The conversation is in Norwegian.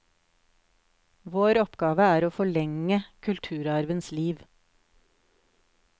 Vår oppgave er å forlenge kulturarvens liv.